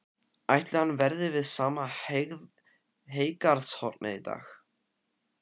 Ætli hann verði við sama heygarðshornið í dag?